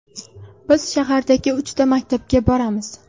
Biz shahardagi uchta maktabga boramiz.